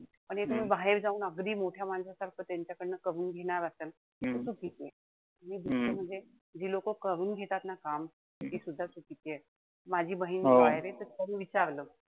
पण हे तुम्ही बाहेर जाऊन कधी मोठ्या माणसासारखं त्यांच्याकडन करून घेणार असाल. त चुकीचंय. आणि दुसरं म्हणजे जी लोकं करून घेतात ना काम तीसुद्धा चुकीचीये. माझी बहीण विचारलं,